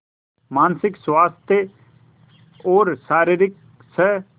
मानसिक स्वास्थ्य और शारीरिक स्